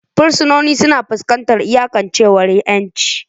Fursunonin suna fuskantar iyakancewar 'yanci.